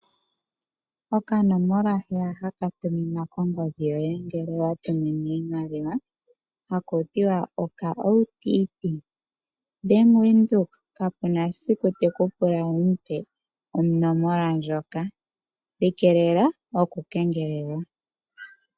Okanomola heya haka tuminwa kongodhi yoye ngele wa tuminwa iimaliwa hakuti wa OTP, Bank Windhoek kape na esiku teku pula wu mupe onomola ndjoka, ikeelela okukengelelwa.